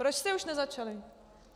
Proč jste už nezačali?